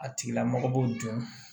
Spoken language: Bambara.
A tigila mɔgɔ b'o dun